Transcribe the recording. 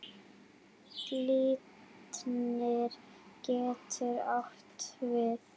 Glitnir getur átt við